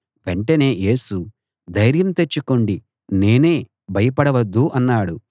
వెంటనే యేసు ధైర్యం తెచ్చుకోండి నేనే భయపడవద్దు అన్నాడు